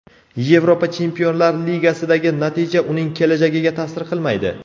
Yevropa Chempionlar Ligasidagi natija uning kelajagiga ta’sir qilmaydi.